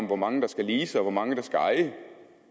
hvor mange der skal lease og hvor mange der skal eje det